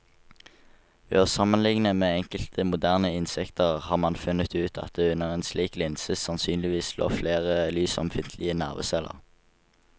Ved å sammenligne med enkelte moderne insekter har man funnet ut at det under en slik linse sannsynligvis lå flere lysømfintlige nerveceller.